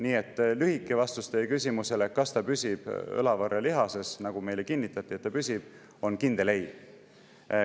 Nii et lühike vastus teie küsimusele, kas see püsib õlavarrelihases, nagu meile kinnitati, on kindel ei.